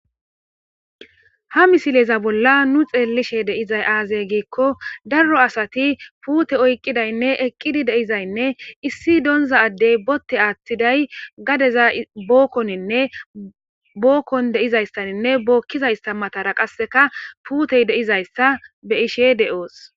ha misileza bolla nu xeellishe deizay aazey giikko darro asati puute oykqidaynne eqqidi deizaynne issi doonza addey botte aathtiday gadeza bookkoninne bookkon deizayssaninne bookkizayssa matara qasseka puutey deizayssa be ishe de7oos